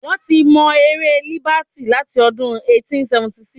Wọ́n ti mọ ère Líbàtì láti ọdún 1876.